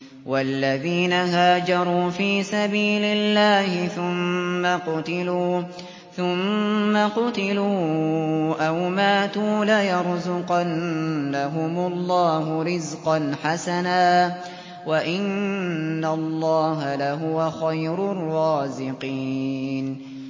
وَالَّذِينَ هَاجَرُوا فِي سَبِيلِ اللَّهِ ثُمَّ قُتِلُوا أَوْ مَاتُوا لَيَرْزُقَنَّهُمُ اللَّهُ رِزْقًا حَسَنًا ۚ وَإِنَّ اللَّهَ لَهُوَ خَيْرُ الرَّازِقِينَ